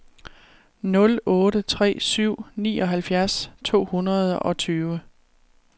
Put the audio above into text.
nul otte tre syv nioghalvfjerds to hundrede og tyve